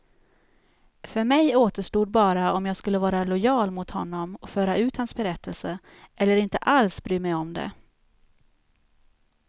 För mig återstod bara om jag skulle vara lojal mot honom och föra ut hans berättelse, eller inte alls bry mig om det.